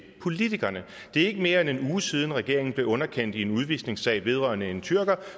politikerne det er ikke mere end en uge siden at regeringen blev underkendt i en udvisningssag vedrørende en tyrker